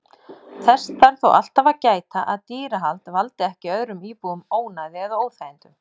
Þess þarf þó alltaf að gæta að dýrahald valdi ekki öðrum íbúum ónæði eða óþægindum.